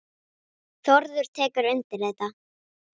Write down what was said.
Þórður tekur undir þetta.